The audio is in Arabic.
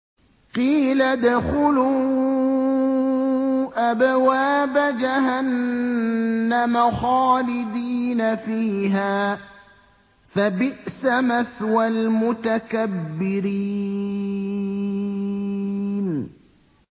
قِيلَ ادْخُلُوا أَبْوَابَ جَهَنَّمَ خَالِدِينَ فِيهَا ۖ فَبِئْسَ مَثْوَى الْمُتَكَبِّرِينَ